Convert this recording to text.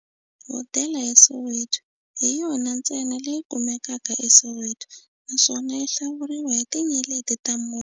Hodela ya Soweto hi yona ntsena leyi kumekaka eSoweto, naswona yi hlawuriwa hi tinyeleti ta mune.